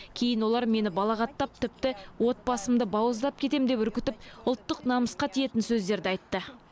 кейін олар мені балағаттап тіпті отбасыңды бауыздап кетемін деп үркітіп ұлттық намысқа тиетін сөздерді айтты